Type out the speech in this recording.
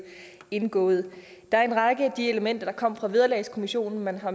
indgået der er en række af de elementer der kom fra vederlagskommissionen man har